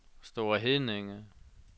Store Heddinge